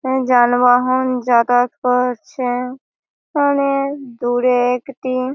উম যানবহন যাতায়াত করছে অনেএএএক দূরে একটি--